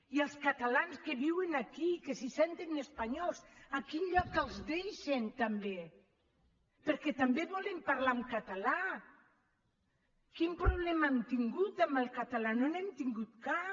i els catalans que viuen aquí que se senten espanyols a quin lloc els deixen també perquè també volem parlar en català quin problema hem tingut amb el català no n’hem tingut cap